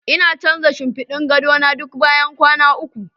Ina canza shinfiɗin gado na duk bayan kwana uku.